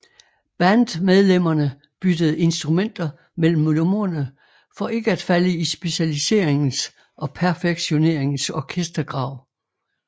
Bandmedlemmerne byttede instrumenter mellem numrene for ikke at falde i specialiseringens og perfektioneringens orkestergrav